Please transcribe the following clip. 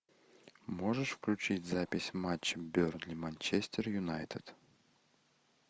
можешь включить запись матча бернли манчестер юнайтед